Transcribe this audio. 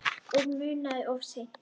Og munað of seint.